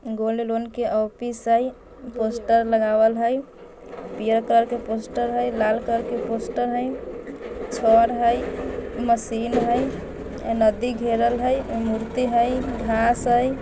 Gold loan के office हई poster लगावल हई लार कलर के पोस्टर हई छड़ हई मशीन हई एम्मे मंदिर घेरल हई उम्मे मूर्ति हई घास हई।